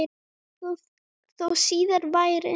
Þó síðar væri.